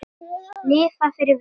Lifa fyrir vín og svanna.